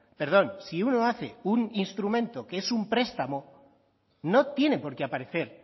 perdón si uno hace un instrumento que es un prestamo no tiene por qué aparecer